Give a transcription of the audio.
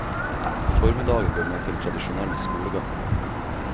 Formiddagen går med til tradisjonell skolegang.